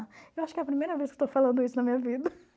Eu acho que é a primeira vez que estou falando isso na minha vida.